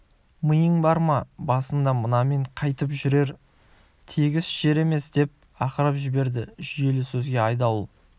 миың бар ма басында мынамен қайтіп жүрем тегіс жер емес деп ақырып жіберді жүйелі сөзге айдауыл